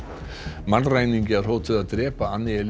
mannræningjar hótuðu að drepa